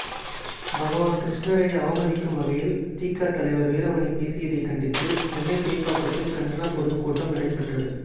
பகவான் கிருஷ்ணரை அவமதிக்கும் வகையில் திக தலைவர் வீரமணி பேசியதைக் கண்டித்து சென்னை சேப்பாக்கத்தில் கண்டன பொதுக்கூட்டம் நடைபெற்றது